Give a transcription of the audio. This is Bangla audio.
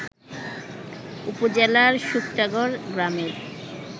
উপজেলার শুক্তাগড় গ্রামের